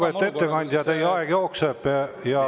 Lugupeetud ettekandja, teie aeg jookseb.